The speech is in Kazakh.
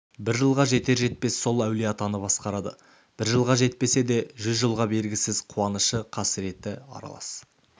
бір жылға жетер-жетпес сол әулиеатаны басқарады бір жылға жетпесе де жүз жылға бергісіз қуанышы қасіреті аралас